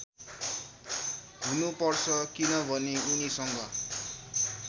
हुनुपर्छ किनभने उनीसँग